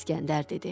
İskəndər dedi: